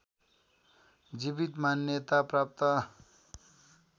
जीवित मान्यता प्राप्त